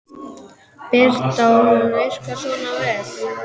Birta: Og hún virkar svona vel?